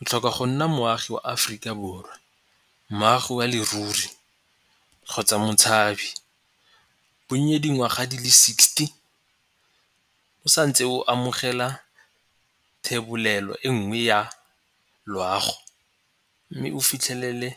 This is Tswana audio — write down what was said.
o tlhoka go nna moagi mo Aforika Borwa, moagi ya leruri kgotsa motshabi. Bonye dingwaga di le sixty o santse o amogela thebolelo e nngwe ya loago mme o fitlhelele